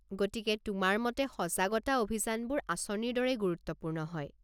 গতিকে, তোমাৰ মতে সজাগতা অভিযানবোৰ আঁচনিৰ দৰেই গুৰুত্বপূৰ্ণ হয়।